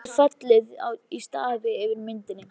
Hún hefur fallið í stafi yfir myndinni.